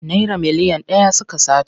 Naira miliyan ɗaya suka sata.